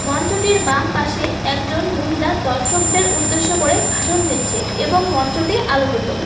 মঞ্চটির বামপাশে একজন মহিলা দর্শকদের উদ্দেশ্য করে ভাষণ দিচ্ছে এবং মঞ্চটি আলোকিত।